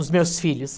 os meus filhos.